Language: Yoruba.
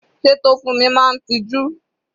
Sé Tofunmi máa ń tiju?